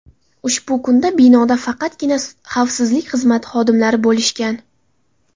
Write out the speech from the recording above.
Ushbu kunda binoda faqatgina xavfsizlik xizmati xodimlari bo‘lishgan.